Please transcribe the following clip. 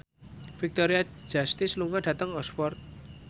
Victoria Justice lunga dhateng Oxford